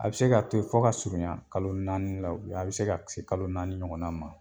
A bɛ se k'a to yen fo ka surunya kalo naani la, a bi se ka kalo naani ɲɔgɔn ma.